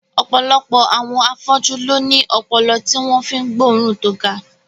Ọ̀pọ̀lọpọ̀ àwọn afọ́jú ló ní ọpọlọ tí wọ́n fi ń gbóòórùn tó ga